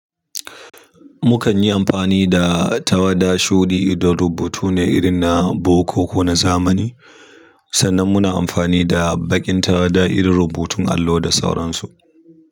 Mu kanyi amfani da tawada shuɗi idan rubutu ne irin na boko kona zamani sannan muna amfani da bakin tawada irin rubutun allo da sauransu.